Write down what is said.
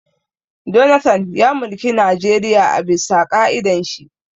Jonathan ya mulki Najeriya a bisa ƙa'idan shi